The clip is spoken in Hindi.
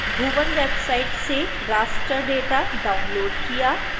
bhuvan वेबसाइट से raster data डाउनलोड़ किया